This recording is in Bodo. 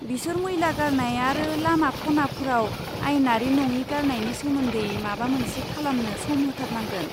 बिसोर मैला गारनाय आरो लामा खनाफोराव आयेनारि नङि गारनायनि सोमोनदै माबा मोनसे खालामनो सम होथारनांगोन।